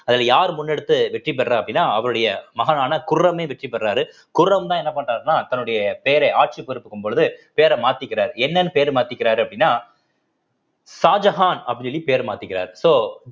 அதுல யார் முன்னெடுத்து வெற்றி பெறா அப்படின்னா அவருடைய மகனான குர்ரமே வெற்றி பெறுறாரு குர்ரம்தான் என்ன பண்றாருன்னா தன்னுடைய பேரை ஆட்சி பொறுப்புக்கும் பொழுது பேர மாத்திக்கிறார் என்னன்னு பேரு மாத்திக்கிறாரு அப்படின்னா ஷாஜகான் அப்படின்னு சொல்லி பேர் மாத்திக்கிறார் so